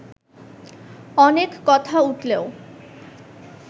অনেক কথা উঠলেও